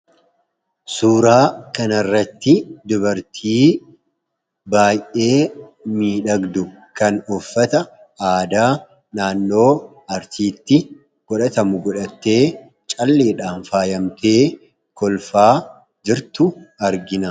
Suuraa kanarratti dubartii baay'ee miidhagdu kan uffata aadaa naannoo arsiitti godhatamu godhattee calleedhaan faayamtee kolfaa jirtu argina.